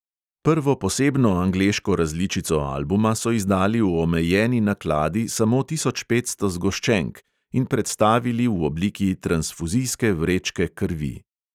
Prvo posebno angleško različico albuma so izdali v omejeni nakladi samo tisoč petsto zgoščenk in predstavili v obliki transfuzijske vrečke krvi.